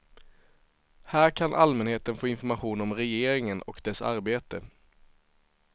Här kan allmänheten få information om regeringen och dess arbete.